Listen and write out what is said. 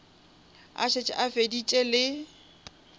a šetše a feditše le